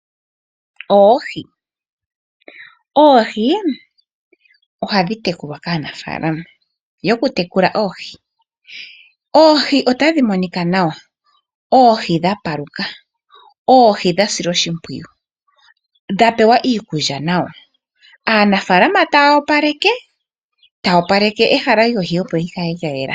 Oohi. Oohi ohadhi tekulwa kaanafaalama yokutekula oohi. Oohi otadhi monika nawa. Oohi dhapaluka . Oohi dha silwa oshimpwiyu dha pewa iikulya nawa .Aanafaalama taya opaleka, taya opaleke ehala opo likale lyayela .